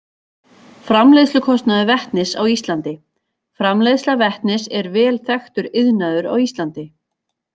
Framleiðslukostnaður vetnis á Íslandi Framleiðsla vetnis er vel þekktur iðnaður á Íslandi.